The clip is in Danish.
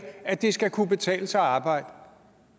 at det skal kunne betale sig at arbejde